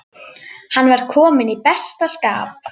Hann var kominn í besta skap.